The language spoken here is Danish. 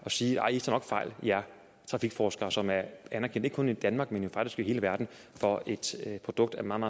sige nej i tager nok fejl i trafikforskere som er anerkendt ikke kun i danmark men faktisk i hele verden for et produkt af meget